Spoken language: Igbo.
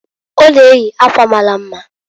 Ọ na-eyi akwa mara mma.